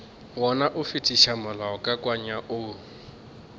gana go fetiša molaokakanywa wo